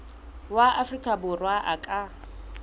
wa afrika borwa a ka